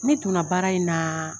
Ne don na baara in na